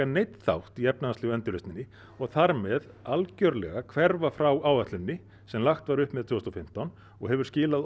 neinn þátt í efnahagslegu endurreisninni og þar með algjörlega hverfa frá áætluninni sem lagt var upp með tvö þúsund og fimmtán og hefur skilað